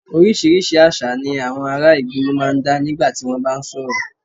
Oríṣiríṣi àṣà ni àwọn ará ìgboro máa ń dá nígbà tí wọ́n bá ń sọ̀rọ̀